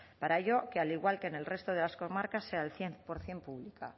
para ello que al igual que en el resto de las comarcas sea el cien por ciento público